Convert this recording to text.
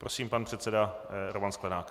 Prosím, pan předseda Roman Sklenák.